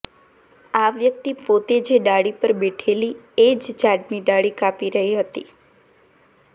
આ વ્યક્તિ પોતે જે ડાળી પર બેઠેલી એ જ ઝાડની ડાળી કાપી રહી હતી